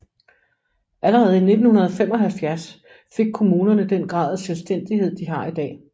Allerede i 1975 fik kommunerne den grad af selvstændighed de har i dag